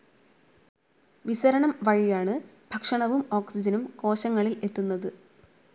വിസരണം വഴിയാണ് ഭക്ഷണവും ഓക്സിജനും കോശങ്ങളിൽ എത്തുന്നത്.